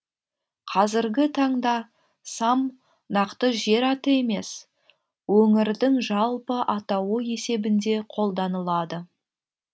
қазіргі таңда сам нақты жер аты емес өңірдің жалпы атауы есебінде қолданылады